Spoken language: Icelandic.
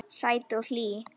Sæt og hlý.